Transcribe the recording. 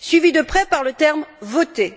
suivi de près par le terme voter.